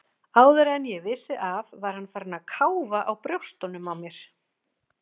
Áður en ég vissi af var hann farinn að káfa á brjóstunum á mér.